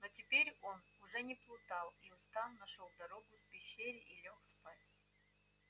но теперь он уже не плутал и устав нашёл дорогу к пещере и лёг спать